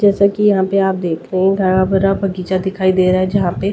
जैसा कि यहां पे आप देख रहे हैं गरा भरा बगीचा दिखाई दे रहा है जहां पे --